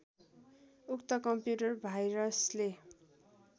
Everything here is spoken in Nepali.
उक्त कम्प्युटर भाइरसले